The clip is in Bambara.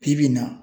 Bi bi in na